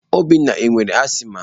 Obinna ọ nwere asiịma?